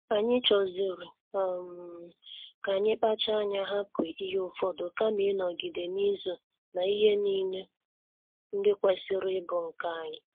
Anyi choziri um ka anyị kpacha anya hapụ ihe ụfọdụ kama ịnọgide n'izo na ihe niile ndị kwesịrị ịbụ nke anyị